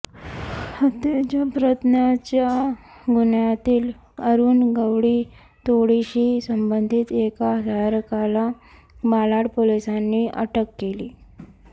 हत्येच्या प्रयत्नाच्या गुन्ह्यांतील अरुण गवळी टोळीशी संबंधित एका सहकार्याला मालाड पोलिसांनी अटक केली